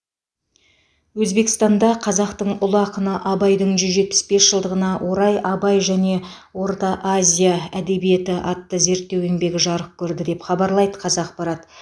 өзбекстанда қазақтың ұлы ақыны абайдың жүз жетпіс бес жылдығына орай абай және орта азия әдебиеті атты зерттеу еңбегі жарық көрді деп хабарлайды қазақпарат